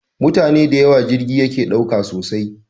Mutane dayawo jirgi yake ɗauka sosai